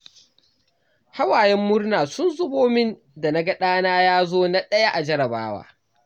Hawayen murna sun zubo min da na ga ɗana ya zo na ɗaya a jarrabawa.